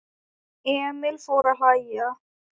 Emil fór að hlæja.